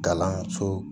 Kalanso